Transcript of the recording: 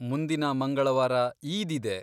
ಮುಂದಿನ ಮಂಗಳವಾರ ಈದ್ ಇದೆ.